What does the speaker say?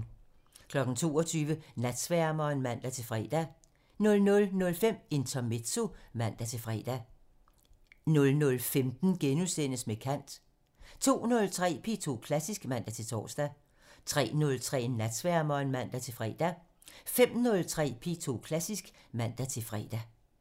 22:00: Natsværmeren (man-fre) 00:05: Intermezzo (man-fre) 00:15: Med kant (Afs. 45)* 02:03: P2 Klassisk (man-tor) 03:03: Natsværmeren (man-fre) 05:03: P2 Klassisk (man-fre)